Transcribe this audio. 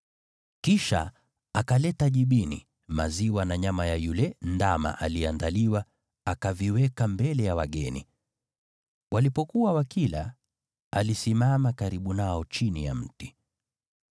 Kisha akaleta jibini, maziwa na nyama ya yule ndama iliyoandaliwa, akaviweka mbele ya wageni. Walipokuwa wakila, alisimama karibu nao chini ya mti.